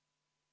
Aitäh!